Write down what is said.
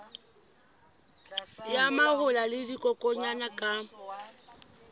ya mahola le dikokwanyana ka